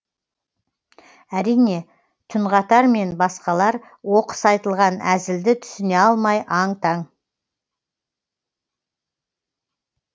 әрине түнғатар мен басқалар оқыс айтылған әзілді түсіне алмай аң таң